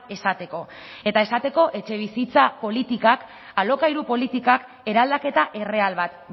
esateko eta esateko etxebizitza politikak alokairu politikak eraldaketa erreal bat